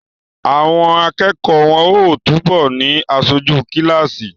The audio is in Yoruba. Àwọn akẹ́kọ̀ọ́ wọ́n ó túbọ̀ ni aṣojú kíláàsì